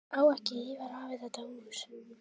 Á ekki Ívar afi þetta hús?